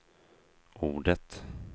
ordet